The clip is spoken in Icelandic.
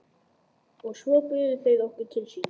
Og svo buðu þeir okkur til sín.